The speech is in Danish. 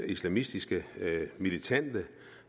islamistiske militante